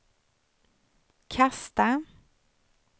kasta